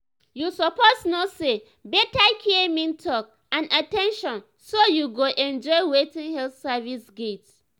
you suppose know say better care mean talk and at ten tion so you go enjoy wetin health service get.